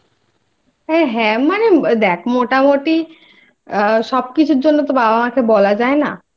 হ্যাঁ মানে দ্যাখ মোটামুটি সব কিছুর জন্য তো বাবা মাকে বলা যায় না